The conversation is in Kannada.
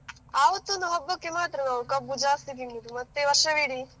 ಆವತ್ತು ಒಂದು ಹಬ್ಬಕ್ಕೆ ಮಾತ್ರ ನಾವು ಕಬ್ಬು ಜಾಸ್ತಿ ತಿನ್ನುವುದು ಮತ್ತೆ ವರ್ಷವಿಡೀ.